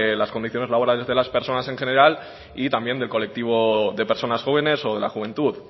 las condiciones laborales de las personas en general y también del colectivo de personas jóvenes o de la juventud